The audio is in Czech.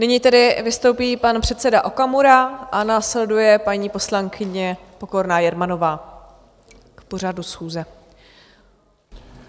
Nyní tedy vystoupí pan předseda Okamura a následuje paní poslankyně Pokorná Jermanová k pořadu schůze.